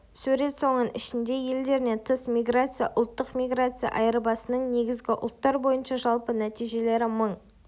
сурет соның ішінде елдерінен тыс миграция ұлттық миграция айырбасының негізгі ұлттар бойынша жалпы нәтижелері мың